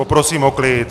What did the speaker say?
Poprosím o klid!